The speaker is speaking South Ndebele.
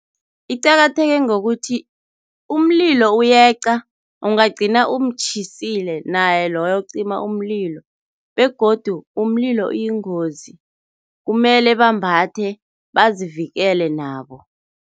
Iqakatheke ngokuthi umlilo uyeqa ungagcina umtjhisile naye loyo ocima umlilo begodu umlilo uyingozi, kumele bambathe bazivikele nabo.